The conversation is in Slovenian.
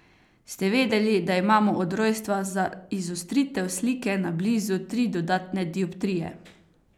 Ste vedeli, da imamo od rojstva za izostritev slike na blizu tri dodatne dioptrije.